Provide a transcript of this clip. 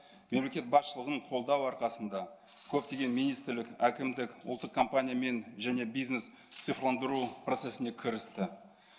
мемлекет басшылығын қолдау арқасында көптеген министрлік әкімдік ұлттық компания мен және бизнес цифрландыру процесіне кірісті